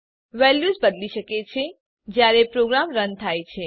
values બદલી શકે છે જયારે પ્રોગ્રામ રન થાય છે